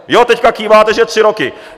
Jo, teď kýváte, že tři roky.